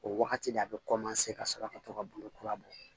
O wagati de a be ka sɔrɔ ka to ka bamakura bɔ